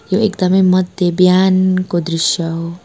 यो एकदमै मध्य बिहानको दृश्य हो।